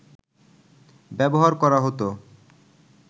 ব্যবহার করা হত